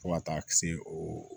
Fo ka taa se o